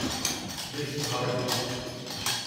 Vrishabhavati